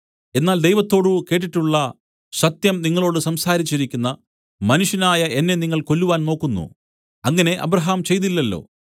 എന്നാൽ ദൈവത്തോടു കേട്ടിട്ടുള്ള സത്യം നിങ്ങളോടു സംസാരിച്ചിരിക്കുന്ന മനുഷ്യനായ എന്നെ നിങ്ങൾ കൊല്ലുവാൻ നോക്കുന്നു അങ്ങനെ അബ്രാഹാം ചെയ്തില്ലല്ലോ